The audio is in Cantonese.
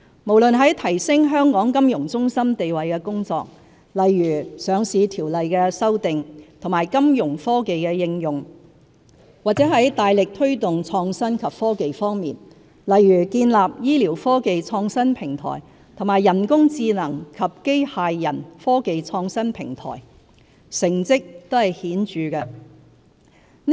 無論在提升香港金融中心地位的工作，例如上市條例的修訂和金融科技的應用，或在大力推動創新及科技方面，例如建立醫療科技創新平台和人工智能及機械人科技創新平台，成績都是顯著的。